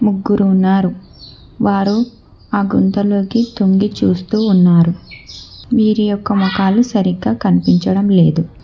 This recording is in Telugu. ముగ్గురు ఉన్నారు వారు ఆ గుంతలోకి తొంగి చూస్తూ ఉన్నారు వీరి యొక్క ముఖాలు సరిగ్గా కనిపించడం లేదు.